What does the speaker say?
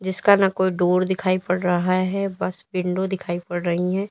इसका ना कोई डोर दिखाई पड़ रहा है बस विंडो दिखाई पड़ रही है।